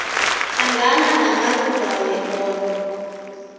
hlangana namalunga wekoro